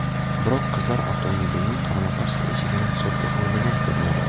Biroq qizlar avtomobilning qarama-qarshi eshigini hisobga olmagan ko‘rinadi.